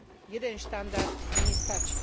Jeden štandard tu nestačí.